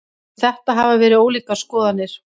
Um þetta hafa verið ólíkar skoðanir.